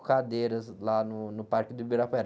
Cadeiras lá no, no Parque do Ibirapuera.